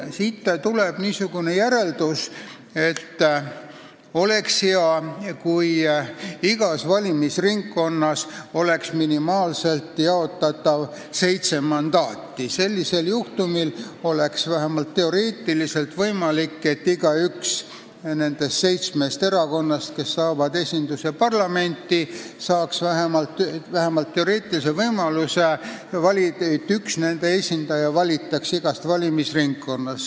Siit tuleb järeldus, et oleks hea, kui igas valimisringkonnas jaotataks minimaalselt seitse mandaati, sellisel juhul oleks vähemalt teoreetiliselt võimalik, et igaüks nendest seitsmest erakonnast, kes saavad esinduse parlamenti, saaks võimaluse, et igast valimisringkonnast valitakse üks nende esindaja.